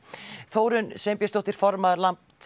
Þórunn Sveinbjörnsdóttir formaður